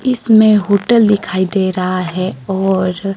इसमें होटल दिखाई दे रहा है और--